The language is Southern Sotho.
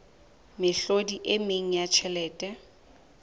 mehlodi e meng ya tjhelete